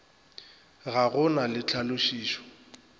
ga go na le tlhalošišo